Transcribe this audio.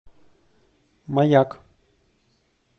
маяк